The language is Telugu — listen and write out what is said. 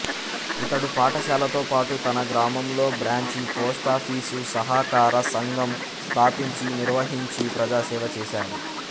ఇతడు పాఠశాలతోపాటు తన గ్రామంలో బ్రాంచి పోస్టాఫీసు సహకార సంఘం స్థాపించి నిర్వహించి ప్రజాసేవ చేశాడు